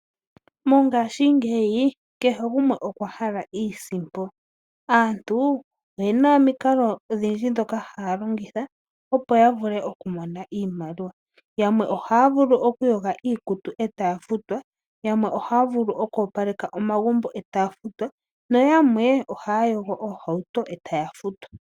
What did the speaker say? Mongaashi ngeyi kehe gumwe okwa hala iisimpo. Aantu oyena omikalo odhindji ndhoka haya longitha opo yavule okumona iimaliwa yamwe ohaya vulu oku yoga iikutu etaya futwa, yamwe ohaya vulu oku opaleka omagumbo etaya futwa noyamwe ohaya yogo oohawuto etaya futwa.